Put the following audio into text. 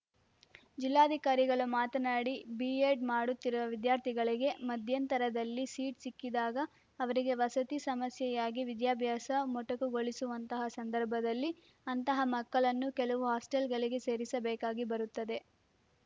ಜಿಲ್ಲಾಧಿಕಾರಿಗಳು ಮಾತನಾಡಿ ಬಿಎಡ್‌ ಮಾಡುತ್ತಿರುವ ವಿದ್ಯಾರ್ಥಿಗಳಿಗೆ ಮಧ್ಯಂತರದಲ್ಲಿ ಸೀಟ್‌ ಸಿಕ್ಕಿದಾಗ ಅವರಿಗೆ ವಸತಿ ಸಮಸ್ಯೆಯಾಗಿ ವಿದ್ಯಾಭ್ಯಾಸ ಮೊಟಕುಗೊಳಿಸುವಂತಹ ಸಂದರ್ಭದಲ್ಲಿ ಅಂತಹ ಮಕ್ಕಳನ್ನು ಕೆಲವು ಹಾಸ್ಟೆಲ್‌ಗಳಿಗೆ ಸೇರಿಸಬೇಕಾಗಿ ಬರುತ್ತದೆ